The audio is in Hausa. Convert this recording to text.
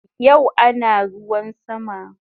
Yau ana ruwan sama